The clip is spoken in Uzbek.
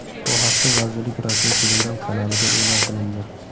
Bu haqda vazirlik rasmiy telegram kanalida eʼlon qilindi.